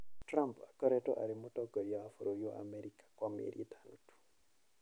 Trump akoretwo arĩ mũtongoria wa bũrũri wa Amerika kwa mĩeri ĩtano tu.